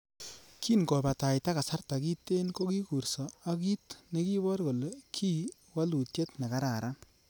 Kin kobataitai kasarta kiten, kokikurso ak kit nekibor kole kii woluutiet nekararan.